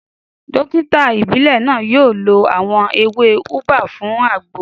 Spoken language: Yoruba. Dókítà ìbílẹ̀ náà yóò lo àwọn ewé ubwa fún àgbo